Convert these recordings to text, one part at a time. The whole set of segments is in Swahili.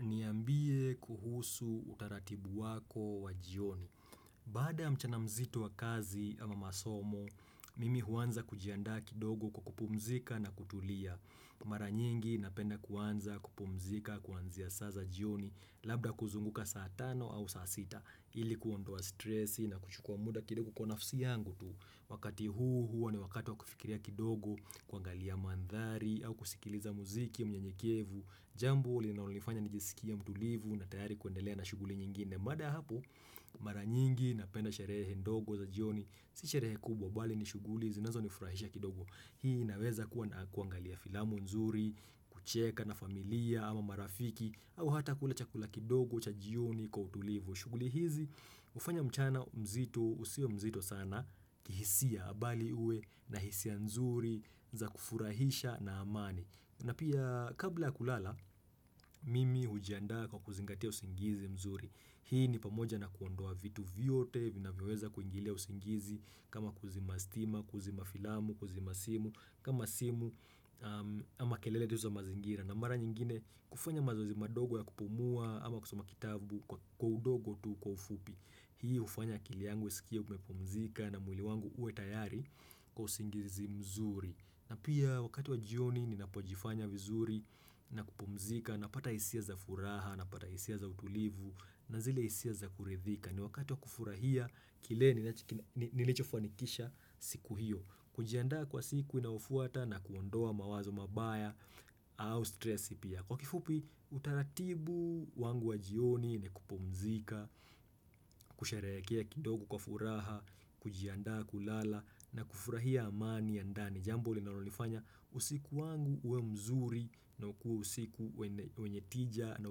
Niambie kuhusu utaratibu wako wa jioni. Baada ya mchana mzito wa kazi ama masomo, mimi huanza kujianda kidogo kupumzika na kutulia. Mara nyingi napenda kuanza kupumzika kuanzia saa za jioni labda kuzunguka saa tano au saasita ili kuondoa stressi na kuchukua muda kidogo kuwa nafsi yangu tu. Wakati huu hua ni wakati wa kufikiria kidogo kuangalia mandhari au kusikiliza muziki mnyenyekevu. Jambo linaonifanya nijisikie mtulivu na tayari kuendelea na shughuli nyingine baada ya hapo mara nyingi napenda sherehe ndogo za jioni Si sherehe kubwa bali ni shuguli zinazonifurahisha kidogo Hii inaweza kuangalia filamu nzuri, kucheka na familia ama marafiki au hata kula chakula kidogo cha jioni kwa utulivu shughuli hizi ufanya mchana mzito usiwe mzito sana kihisia bali uwe na hisia nzuri za kufurahisha na amani na pia kabla ya kulala, mimi hujiandaa kwa kuzingatia usingizi mzuri. Hii ni pamoja na kuondoa vitu vyote, vinavyoweza kuingilia usingizi, kama kuzima stima, kuzima filamu, kuzima simu, kama simu ama kelele tu za mazingira. Na mara nyingine hufanya mazozi madogo ya kupumua ama kusoma kitabu kwa udogo tu kwa ufupi Hii ufanya akili yangu usikie umepumzika na mwili wangu uwe tayari kwa usingizi mzuri na pia wakati wa jioni ninapojifanya vizuri na kupumzika napata hisia za furaha na pata hisia za utulivu na zile hisia za kuridhika ni wakati wa kufurahia kile nilichofanikisha siku hiyo kujiandaa kwa siku inaofuata na kuondoa mawazo mabaya au stressi pia. Kwa kifupi utaratibu wangu wa jioni ni kupumzika, kusherehekea kidogo kwa furaha, kujiandaa kulala na kufurahia amani ya ndani. Jambo linalonifanya usiku wangu uwe mzuri na ukuwe usiku wenye tija na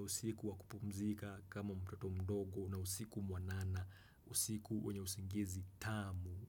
usiku wa kupumzika kama mtoto mdogo na usiku mwanana, usiku wenye usingizi tamu.